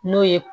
N'o ye